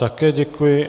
Také děkuji.